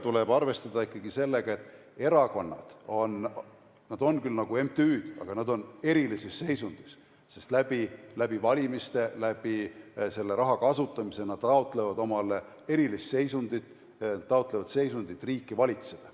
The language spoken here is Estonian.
Tuleb arvestada ikkagi ka sellega, et erakonnad on küll nagu MTÜ-d, aga nad on erilises seisundis, sest läbi valimiste ja läbi selle raha kasutamise nad taotlevad omale erilist seisundit, nimelt seisundit riiki valitseda.